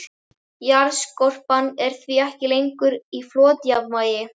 Jarðskorpan er því ekki lengur í flotjafnvægi.